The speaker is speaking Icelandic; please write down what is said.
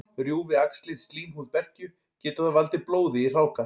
Rjúfi æxlið slímhúð berkju, getur það valdið blóði í hráka.